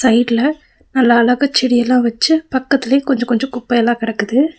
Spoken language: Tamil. சைட்ல நல்லா அழகா செடியேல்லா வச்சு பக்கத்துல கொஞ்சம் கொஞ்சம் குப்பைல கெடக்குது.